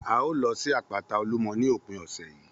A ó lọ sí àpáta Olúmọ ní òpin ọ̀sẹ̀ yìí